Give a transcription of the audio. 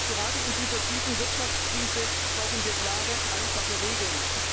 Gerade in dieser tiefen Wirtschaftskrise brauchen wir klare, einfache Regeln.